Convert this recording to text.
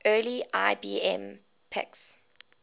early ibm pcs